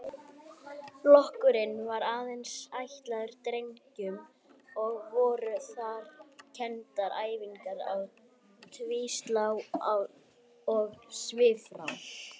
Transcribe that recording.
Flokkurinn var aðeins ætlaður drengjum og voru þar kenndar æfingar á tvíslá og svifrá.